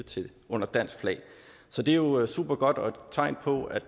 under dansk flag så det er jo supergodt og et tegn på at